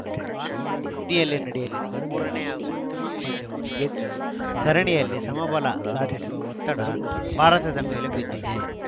ಭಾನುವಾರ ಸಿಡ್ನಿಯಲ್ಲಿ ನಡೆಯಲಿರುವ ಮೂರ ನೇ ಹಾಗೂ ಅಂತಿಮ ಪಂದ್ಯವನ್ನು ಗೆದ್ದು ಸರಣಿಯಲ್ಲಿ ಸಮಬಲ ಸಾಧಿಸುವ ಒತ್ತಡ ಭಾರತದ ಮೇಲೆ ಬಿದ್ದಿದೆ